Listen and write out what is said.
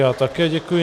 Já také děkuji.